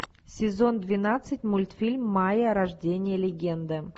сезон двенадцать мультфильм майя рождение легенды